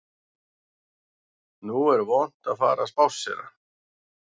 Nú er vont að fara að spásséra